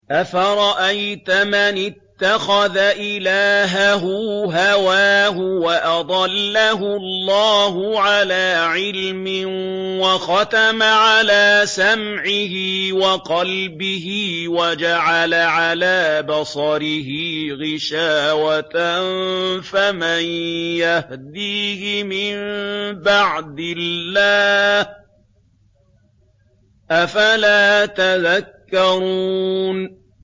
أَفَرَأَيْتَ مَنِ اتَّخَذَ إِلَٰهَهُ هَوَاهُ وَأَضَلَّهُ اللَّهُ عَلَىٰ عِلْمٍ وَخَتَمَ عَلَىٰ سَمْعِهِ وَقَلْبِهِ وَجَعَلَ عَلَىٰ بَصَرِهِ غِشَاوَةً فَمَن يَهْدِيهِ مِن بَعْدِ اللَّهِ ۚ أَفَلَا تَذَكَّرُونَ